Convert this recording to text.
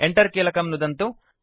Enter कीलकं नुदन्तु